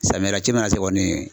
Samiya la ci mana se kɔni